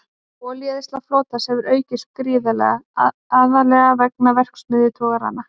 Olíueyðsla flotans hefur aukist gífurlega, aðallega vegna verksmiðjutogaranna.